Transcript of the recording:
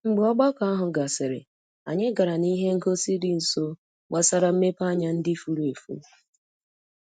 Mgbe ogbako ahụ gasịrị, anyị gara n'ihe ngosi dị nso gbasara mmepeanya ndị furu efu.